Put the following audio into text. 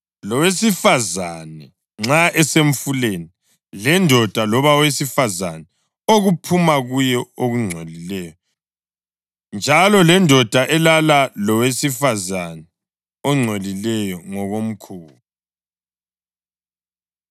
lowesifazane nxa esemfuleni, lendoda loba owesifazane okuphuma kuye okungcolileyo, njalo lendoda elala lowesifazane ongcolileyo ngokomkhuba.